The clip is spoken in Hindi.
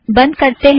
बंध करतें हैं